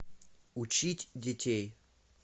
учить детей